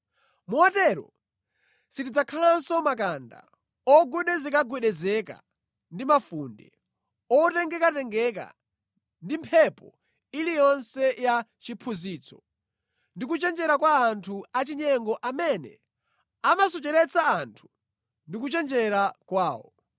Motero sitidzakhalanso makanda, ogwedezekagwedezeka ndi mafunde, otengekatengeka ndi mphepo iliyonse ya chiphunzitso ndi kuchenjera kwa anthu achinyengo amene amasocheretsa anthu ndi kuchenjera kwawo.